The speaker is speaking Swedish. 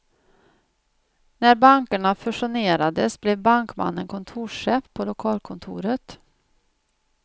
När bankerna fusionerades blev bankmannen kontorschef på lokalkontoret.